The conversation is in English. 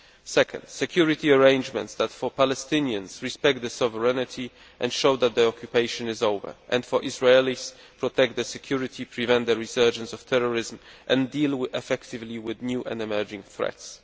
secondly, security arrangements that, for Palestinians, respect their sovereignty and show that the occupation is over and, for Israelis, protect their security, prevent the resurgence of terrorism and deal effectively with new and emerging threats